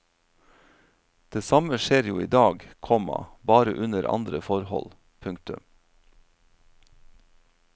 Det samme skjer jo i dag, komma bare under andre forhold. punktum